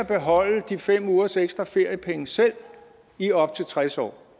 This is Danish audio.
de fem ugers ekstra feriepenge selv i op til tres år